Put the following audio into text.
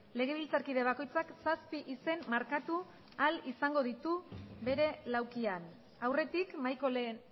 legebiltzarkide bakoitzak zazpi izen markatu ahal izango ditu bere laukian aurretik mahaiko lehen